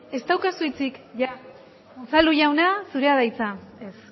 ez daukazu